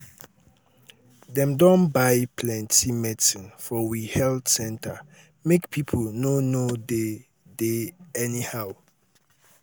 dem don buy plenty medicin for we health center make pipo no no dey dey anyhow.